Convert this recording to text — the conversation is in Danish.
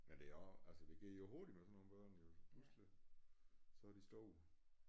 Men det er også altså det går jo hurtigt med sådan nogle børn jo pludseligt så er de store